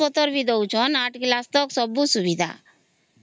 dress ପତ୍ର ଭି ଦଉ ଛନ ଆଠ class ତକ ସବୁ ସୁବିଧା